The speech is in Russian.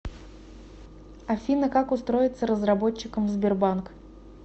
афина как устроиться разработчиком в сбербанк